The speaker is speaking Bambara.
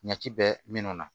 Ɲa ci bɛɛ mina